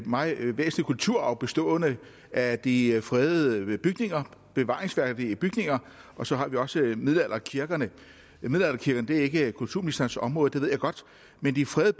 meget væsentlig kulturarv bestående af de fredede bygninger bevaringsværdige bygninger og så har vi også middelalderkirkerne middelalderkirkerne er ikke kulturministerens område det ved jeg godt men de fredede